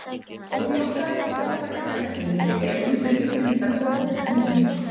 Óljósar og mótsagnakenndar heimildir eru um hvernig Íslendingar tóku þessari nýjung.